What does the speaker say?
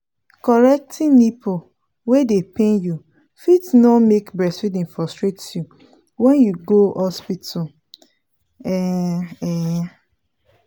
correcting nipple wey dey pain you fit no make breastfeeding frustrate you when you go hospital um um